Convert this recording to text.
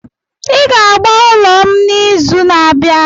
Ị ga agba ụlọ m n'izu na-abịa!